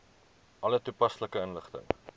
alle toepaslike inligting